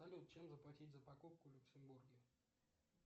салют чем заплатить за покупку в люксембурге